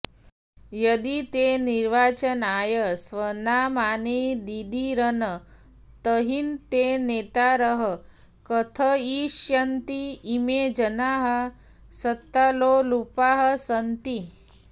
यदि ते निर्वाचनाय स्वनामानि ददीरन् तर्हि ते एव नेतारः कथयिष्यन्ति इमे जनाः सत्तालोलुपाः सन्ति